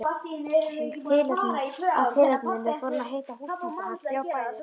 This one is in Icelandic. Af tilefninu fór hann að hitta húsbændur hans, þrjá bræður.